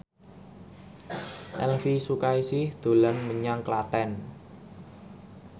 Elvi Sukaesih dolan menyang Klaten